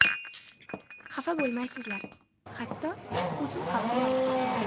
Xafa bo‘lmaysizlar, hatto, o‘zim ham uyalib turibman.